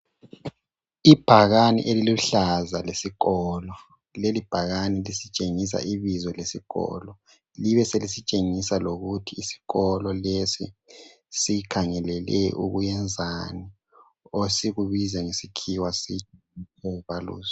Ibhakani eliluhlaza lesikolo. Leli bhakani lisitshingisa ibizo lesikolo libe selisitshengisa lokuthi isikolo lesi sikhangelele ukuyenzani, esikubiza ngesikhiwa sithi ... kho valuyuzi.